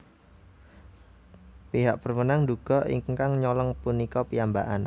Pihak berwenang nduga ingkang nyolong punika piyambakan